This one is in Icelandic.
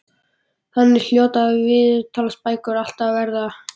Þannig hljóta viðtalsbækur alltaf að verða.